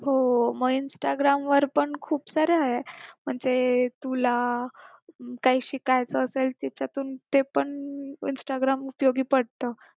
हो मग instagram वर पण खूप सारे आहेत म्हणजे तुला काय शिकायचं असेल त्याच्यातून ते पण instagram उपयोगी पडत